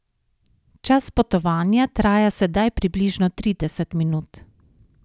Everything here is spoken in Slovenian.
Čas potovanja traja sedaj približno trideset minut.